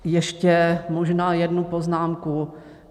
Ještě možná jednu poznámku.